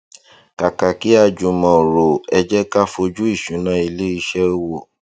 kàkà kí a jùmọ rò ẹ jé ká fojú ìṣúná ilé iṣẹ wò